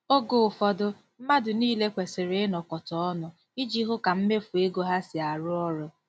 Oge ụfọdụ, mmadụ niile kwesịrị ịnọ kọta ọnụ iji hụ ka mmefu ego ha si arụ ọrụ.